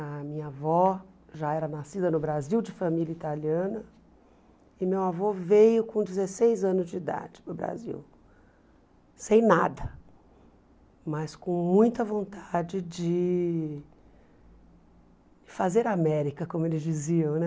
A minha avó já era nascida no Brasil de família italiana e meu avô veio com dezesseis anos de idade para o Brasil, sem nada, mas com muita vontade de fazer América, como eles diziam, né?